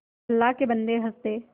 अल्लाह के बन्दे हंस दे